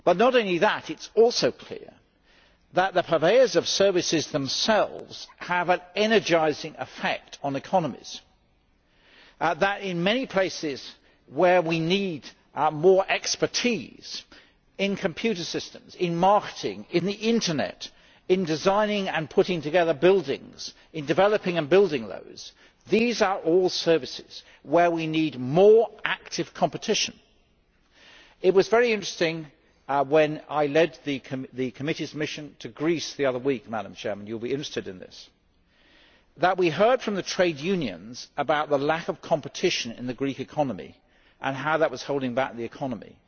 It is also clear that the purveyors of services themselves have an energising effect on economies. There are many areas where we need more expertise in computer systems, in marketing, in the Internet, in designing and putting together buildings and in developing and building them. These are all services where we need more active competition. It was very interesting when I led the Committee's mission to Greece the other week you will be interested in this, Madam President that we heard from the trade unions about the lack of competition in the Greek economy and how that was holding back the economy.